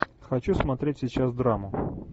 хочу смотреть сейчас драму